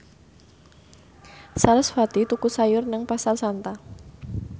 sarasvati tuku sayur nang Pasar Santa